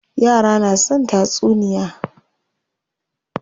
Yara na son tatsuniya.